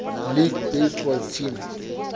league baseball team